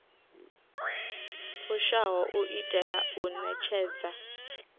fushaho u itela u ṋetshedza